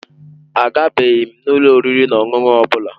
Agabeghị m ụlọ oriri na ọṅụṅụ ọ bụla.